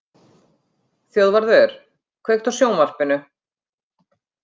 Þjóðvarður, kveiktu á sjónvarpinu.